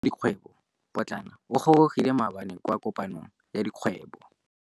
Moêng wa dikgwêbô pôtlana o gorogile maabane kwa kopanong ya dikgwêbô.